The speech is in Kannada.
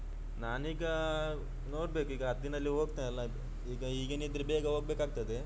ನಾನ್ ಈಗ ನೋಡ್ಬೇಕು ಈಗ ಹತ್ತು ದಿನದಲ್ಲಿ ಹೋಗ್ತೇನೆಲ್ಲಾ ಈಗ ಹೀಗೆನೆಯಿದ್ರೆ ಬೇಗ ಹೋಗ್ಬೇಕಾಗ್ತದೆ.